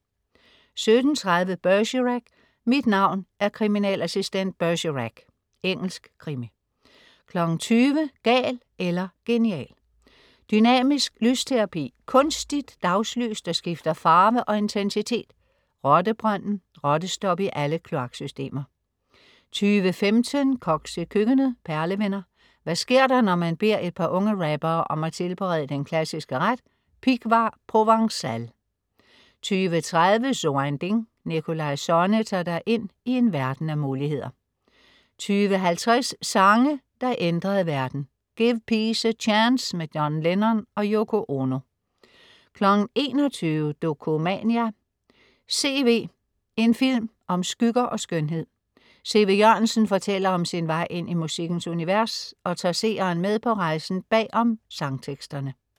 17.30 Bergerac: Mit navn er kriminalassistent Bergerac. Engelsk krimi 20.00 Gal eller genial. Dynamisk lysterapi: Kunstigt dagslys, der skifter farve og intensitet. Rottebrønden: Rottestop i alle kloaksystemer 20.15 Koks i køkkenet. Perlevenner. Hvad sker der, når man beder et par unge rappere om at tilberede den klassiske ret "Pighvar provencale"? 20.30 So ein Ding. Nikolaj Sonne tager dig ind i en verden af muligheder 20.50 Sange der ændrede verden. Give Peace a Chance, John Lennon og Yoko Ono 21.00 Dokumania: C.V., en film om skygger og skønhed. CV Jørgensen fortæller om sin vej ind i musikkens univers og tager seeren med på rejsen bagom sangteksterne